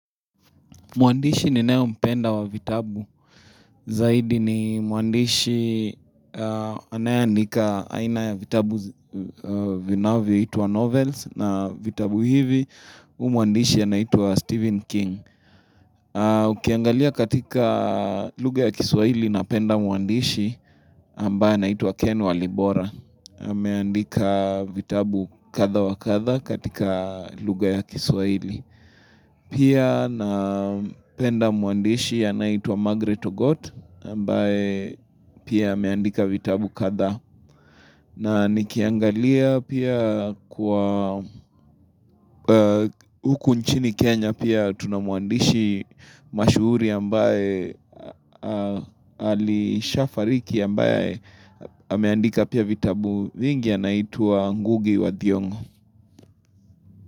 Mwandishi ninayo mpenda wa vitabu, zaidi ni mwandishi anayendika aina ya vitabu vinavyo itwa Novels na vitabu hivi huyu mwandishi anaitwa Stephen King. Ukiangalia katika lugha ya Kiswaili napenda mwandishi ambaye anaitwa Ken Walibora. Ameandika vitabu kadha wa kadha katika lugha ya Kiswaili. Pia napenda mwandishi anayeitwa Margaret Ogot ambaye pia ameandika vitabu kadha na nikiangalia pia kwa huku nchini Kenya pia tuna mwandishi mashuhuri ambaye alisha fariki ambaye ameandika pia vitabu vingi anaituwa Nguge wa Thiongo.